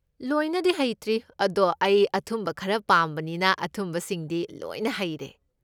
ꯂꯣꯏꯅꯗꯤ ꯍꯩꯇ꯭ꯔꯤ, ꯑꯗꯣ ꯑꯩ ꯑꯊꯨꯝꯕ ꯈꯔ ꯄꯥꯝꯕꯅꯤꯅ ꯑꯊꯨꯝꯕꯁꯤꯡꯗꯤ ꯂꯣꯏꯅ ꯍꯩꯔꯦ꯫